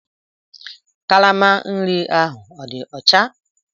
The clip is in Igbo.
Kalama nri ahụ ọ dị ọcha?